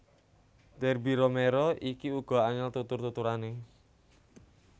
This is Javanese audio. Derby Romero iki uga angel tutur tuturane